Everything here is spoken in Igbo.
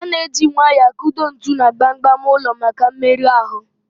A na eji nwayọọ akụdo ntu na gbam gbam ụlọ maka mmerụ ahụ